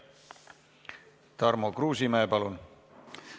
Tarmo Kruusimäe, palun!